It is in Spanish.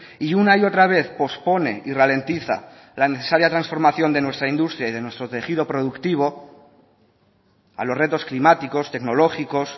y una y otra vez pospone y ralentiza la necesaria transformación de nuestra industria y de nuestro tejido productivo a los retos climáticos tecnológicos